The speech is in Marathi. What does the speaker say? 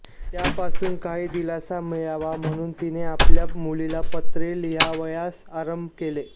त्यापासून काही दिलासा मिळावा म्हणून तिने आपल्या मुलीला पत्रे लिहावयास आरंभ केला